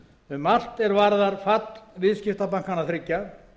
um allt er varðar fall viðskiptabankanna þriggja